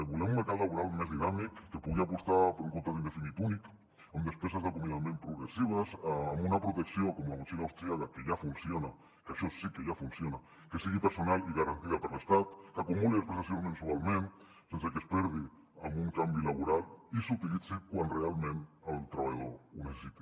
volem un mercat laboral més dinàmic que pugui apostar per un contracte indefinit únic amb despeses d’acomiadament progressives amb una protecció com la motxilla austríaca que ja funciona que això sí que ja funciona que sigui personal i garantida per l’estat que acumuli les prestacions mensualment sense que es perdi amb un canvi laboral i s’utilitzi quan realment el treballador ho necessiti